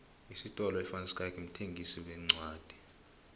isifolo ivanschaick mthengisi wencwodi